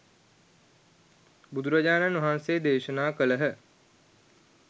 බුදුරජාණන් වහන්සේ දේශනා කළහ.